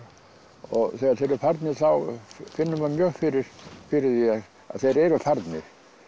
og þegar þeir eru farnir þá finnur maður mjög fyrir fyrir því að þeir eru farnir